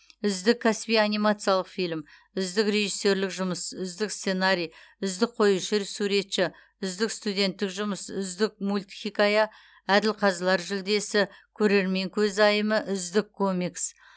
үздік кәсіби анимациялық фильм үздік режиссерлік жұмыс үздік сценарий үздік қоюшы суретші үздік студенттік жұмыс үздік мультхикая әділқазылар жүлдесі көрермен көзайымы үздік комикс